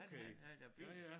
Han havde havde da bil